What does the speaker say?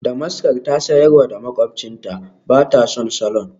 Damaskar ta sayar wa makwabcinta, ba ta son salon.